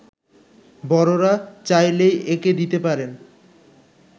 বড়রা, চাইলেই এঁকে দিতে পারেন